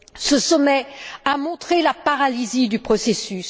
Ce sommet a montré la paralysie du processus.